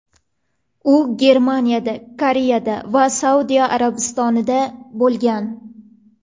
U Germaniyada, Koreyada va Saudiya Arabistonida bo‘lgan.